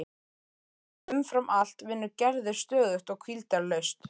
En umfram allt vinnur Gerður stöðugt og hvíldarlaust.